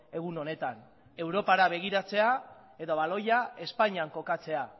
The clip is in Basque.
egun honetan europara begiratzea eta baloia espainian kokatzea